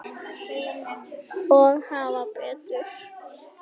Og hafa betur.